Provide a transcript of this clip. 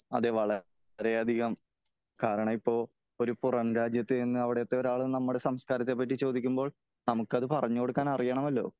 അതേ വളരെ അധികം കാരണം ഇപ്പോ ഒരു പുറം രാജ്യത്ത് ചെന്ന് അവിടത്തെ ഒരാള് നമ്മുടെ സംസ്കാരത്തെ പറ്റി ചോദിക്കുമ്പോൾ നമുക്ക് അത് പറഞ്ഞു കൊടുക്കാൻ അറിയണമല്ലോ